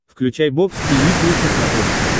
включай бокс тиви плюс на смотрешке